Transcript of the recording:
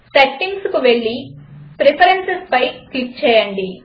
Settingకు వెళ్ళి Preferencesపై క్లిక్ చేయండి